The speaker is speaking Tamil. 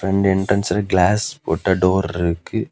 ரெண்டு என்ட்ரன்ஸ்ல கிளாஸ் போட்ட டோர் இருக்கு.